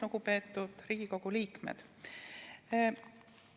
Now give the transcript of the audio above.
Lugupeetud Riigikogu liikmed!